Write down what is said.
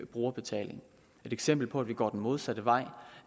brugerbetaling et eksempel på at vi går den modsatte vej